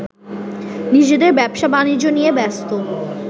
নিজেদের ব্যবসা-বাণিজ্য নিয়ে ব্যস্ত